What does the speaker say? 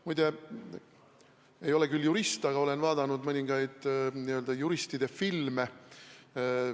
Muide, ma ei ole küll jurist, aga ma olen vaadanud mõningaid n-ö juristide filme.